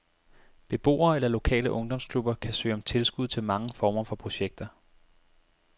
Beboere eller lokale ungdomsklubber kan søge om tilskud til mange former for projekter.